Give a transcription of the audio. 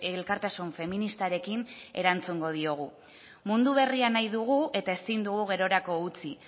elkartasun feministarekin erantzungo diogu mundu berria nahi dugu eta ezin dugu gerorako utzi